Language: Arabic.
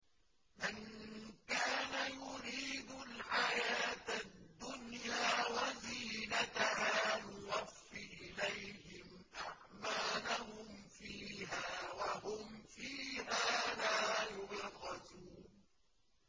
مَن كَانَ يُرِيدُ الْحَيَاةَ الدُّنْيَا وَزِينَتَهَا نُوَفِّ إِلَيْهِمْ أَعْمَالَهُمْ فِيهَا وَهُمْ فِيهَا لَا يُبْخَسُونَ